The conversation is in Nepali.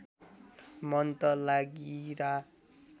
मन त लागिरा